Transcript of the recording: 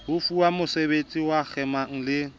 fuwang mosebedisi ho kgema le